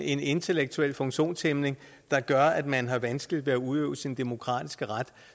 en intellektuel funktionshæmning der gør at man har vanskeligt ved at udøve sin demokratiske ret